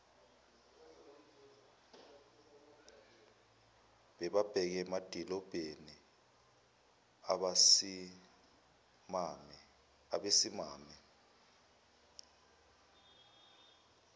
bebheke emadilobheni abesimame